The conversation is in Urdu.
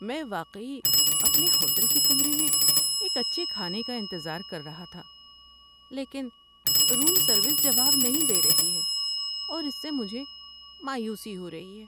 میں واقعی اپنے ہوٹل کے کمرے میں ایک اچھے کھانے کا انتظار کر رہا تھا، لیکن روم سروس جواب نہیں دے رہی ہے اور اس سے مجھے مایوسی ہو رہی ہے۔